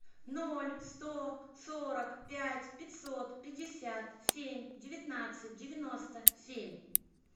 ноль сто сорок пять пятьсот пятьдесят семь девятнадцать девяносто семь